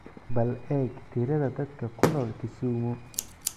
bal eeg tirada dadka ku nool kisumu